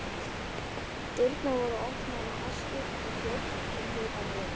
Dyrnar voru opnaðar í hasti og þjónn kom hlaupandi inn.